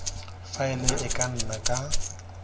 faele e ka nna ka